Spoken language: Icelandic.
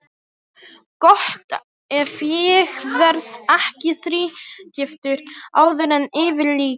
Gott ef ég verð ekki þrígiftur áður en yfir lýkur.